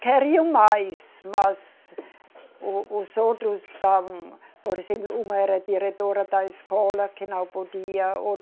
Queriam mais, mas o, os outros estavam... Por exemplo, uma era a diretora da escola, que não podia.